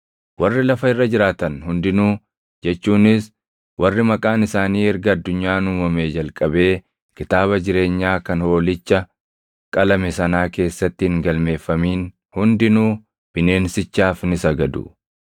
Warri lafa irra jiraatan hundinuu jechuunis warri maqaan isaanii erga addunyaan uumamee jalqabee kitaaba jireenyaa kan Hoolicha qalame sanaa keessatti hin galmeeffamin hundinuu bineensichaaf ni sagadu.